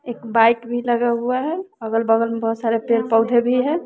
एक बाइक भी लगा हुआ है अगल बगल में बहोत सारे पेड़ पौधे भी है।